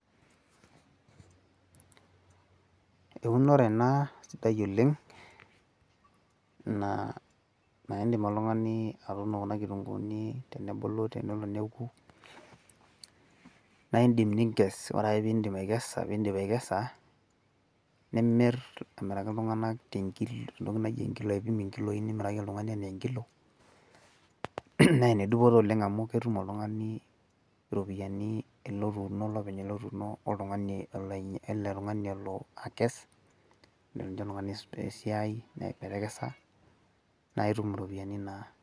eunore ena sidai oleng' naa idim oltung'ani atuuno kuna kitunguuni naa idim nikes ore ake pee idip atekesa nimir amiraki itung'anak tengilo ,naa ene dupoto oleng' amu imir oltung'ani iropiyiani.